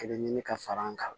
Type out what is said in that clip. Kelen ɲini ka far'an kan